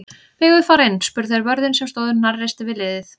Megum við fara inn? spurðu þeir vörðinn sem stóð hnarreistur við hliðið.